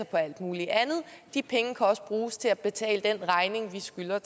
på alt muligt andet de penge kan også bruges til at betale den regning vi skylder